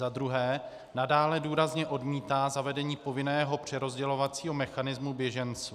za druhé nadále důrazně odmítá zavedení povinného přerozdělovacího mechanismu běženců;